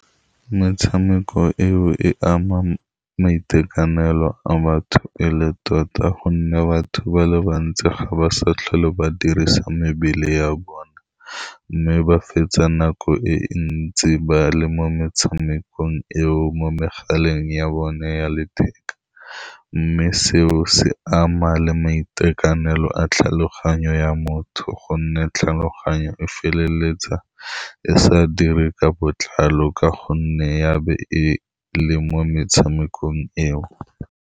Metshameko eo e ama maitekanelo a batho e le tota, ka gonne batho ba le bantsi ga ba sa tlhole ba dirisa mebele ya bona, mme ba fetsa nako e ntsi ba le mo metshamekong eo mo megaleng ya bone ya letheka, mme seo se ama le maitekanelo a tlhaloganyo ya motho, ka gonne tlhaloganyo e feleletsa e sa dire ka botlalo ka gonne ya be e le mo metshamekong eo.